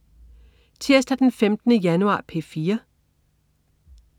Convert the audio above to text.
Tirsdag den 15. januar - P4: